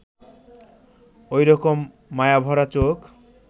ওই রকম মায়াভরা চোখ